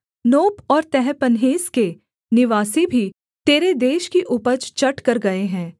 नोप और तहपन्हेस के निवासी भी तेरे देश की उपज चट कर गए हैं